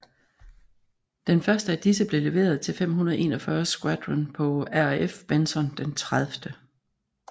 Den første af disse blev leveret til 541 Squadron på RAF Benson den 30